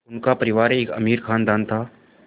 उनका परिवार एक अमीर ख़ानदान था